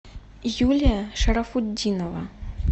юлия шарафутдинова